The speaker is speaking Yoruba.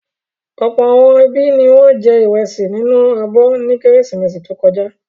Ọ̀pọ̀ àwọn ẹbí ni wọ́n jẹ ìrẹsì nínú abọ́ ní Kérésìmesì tó kọjá.